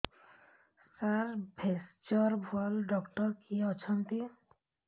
ସାର ଭେଷଜର ଭଲ ଡକ୍ଟର କିଏ ଅଛନ୍ତି